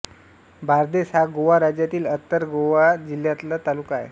बार्देस हा गोवा राज्यातील उत्तर गोवा जिल्ह्यातला तालुका आहे